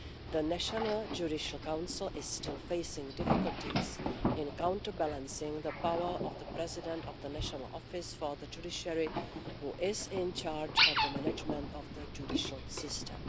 The National Judicial Council is still facing difficulties in counterbalancing the power of the President of the National Office for the Judiciary, who is in charge of the management of the judicial system.